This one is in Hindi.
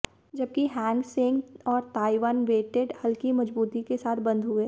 जबकि हैंगसेंग और ताईवान वेटेड हल्की मजबूती के साथ बंद हुए